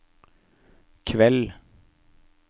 kveld